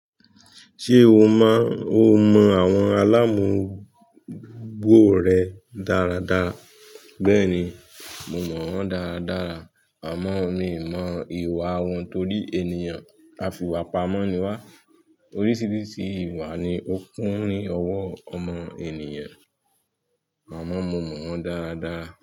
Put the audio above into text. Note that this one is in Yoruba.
Ṣé o mọ àwọn aláàmọ́gbó rẹ dáradára? Bẹ́ẹ̀ni, mo mọ wọ́n dáradára, àmọ́ mi ò mọ ìwà wọn torí ènìyàn a fi ìwà pamọ́ ni wá. Oríṣiríṣi ìwà ni ó kún ni ọwọ́ ọmọ ènìyàn, àmọ́ mo mọ wọ́n dáradára.